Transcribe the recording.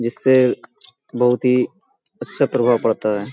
जिससे बोहोत ही अच्छा प्रभाव पड़ता है।